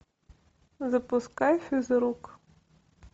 запускай физрук